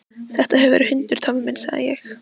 Þetta hefur verið hundur, Tommi minn, sagði ég.